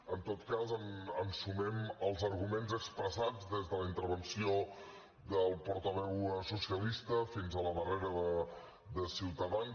en tot cas ens sumem als arguments expressats des de la intervenció del portaveu socialista fins a la darrera de ciutadans